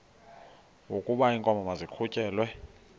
wokaba iinkomo maziqhutyelwe